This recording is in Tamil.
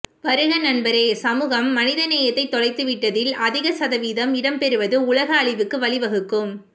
வருக நண்பரே சமூகம் மனிதநேயத்தை தொலைத்து விட்டதில் அதிக சதவீதம் இடம் பெறுவது உலக அழிவுக்கு வழி வகுக்கும்